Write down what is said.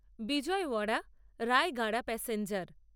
Vijayawada Rayagada passenger